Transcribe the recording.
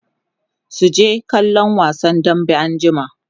zasu je kallon wasan dambe anjima